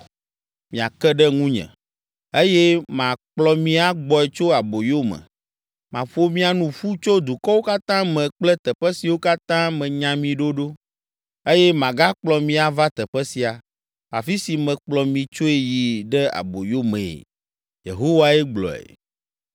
Miake ɖe ŋunye, eye makplɔ mi agbɔe tso aboyo me. Maƒo mia nu ƒu tso dukɔwo katã me kple teƒe siwo katã menya mi ɖo ɖo, eye magakplɔ mi ava teƒe sia, afi si mekplɔ mi tsoe yi ɖe aboyo mee.” Yehowae gblɔe.